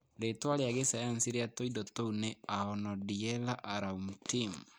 Rĩĩtwa rĩa gĩsayansi rĩa tũindo tũu nĩ Aonodiella auramtin